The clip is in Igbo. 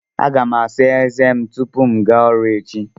Aga m asa ézé m tupu m gaa ọrụ echi.